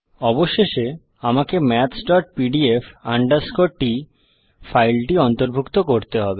অবশেষে আমাকে mathspdf t ফাইলটি অন্তর্ভুক্ত করতে হবে